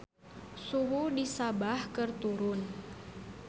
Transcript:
Suhu di Sabah keur turun